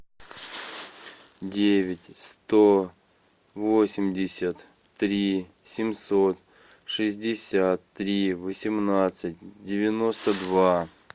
девять сто восемьдесят три семьсот шестьдесят три восемнадцать девяносто два